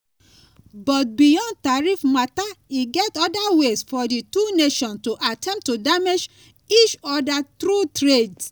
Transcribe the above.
but beyond tariffs mata e get oda ways for dis two nations to attempt to damage each oda through trade.